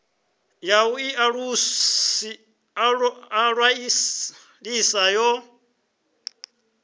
ya u ḓi ṅwalisa yo